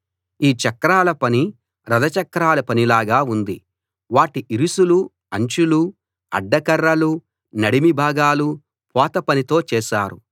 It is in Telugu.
ఈ చక్రాల పని రథ చక్రాల పనిలాగా ఉంది వాటి ఇరుసులూ అంచులూ అడ్డకర్రలూ నడిమి భాగాలూ పోత పనితో చేశారు